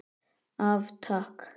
Af Takk.